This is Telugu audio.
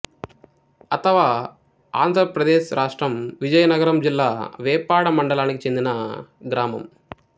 అతవఆంధ్ర ప్రదేశ్ రాష్ట్రం విజయనగరం జిల్లా వేపాడ మండలానికి చెందిన గ్రామం